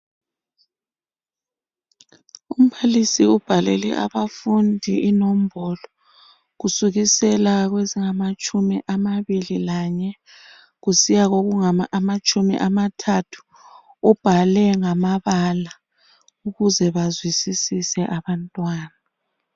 Umbalisi ubhalele abafundi inombolo kusukisela kwezingamatshumi amabili lanye kusiya kokungamatshumi amathathu ubhale ngamabala ukuze bazwisisise abantwana.